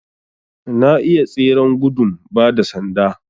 Na iya tseren gudun ba da sanda